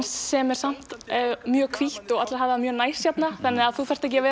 sem er samt mjög hvítt og allir hafa það mjög næs hérna þannig að þú þarft ekki að